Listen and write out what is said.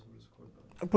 sobre os cordões.